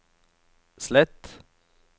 slett